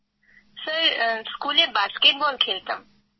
Krittika sir স্কুলে basketball খেলতাম